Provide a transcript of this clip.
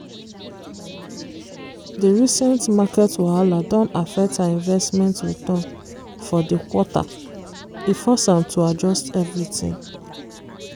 di recent market wahala don affect her investment return for di quarter e force am to adjust everything.